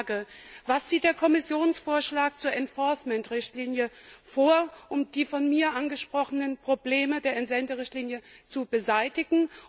Meine Frage Was sieht der Kommissionsvorschlag zur Enforcement Richtlinie vor, um die von mir angesprochenen Probleme der Entsenderichtlinie zu beseitigen?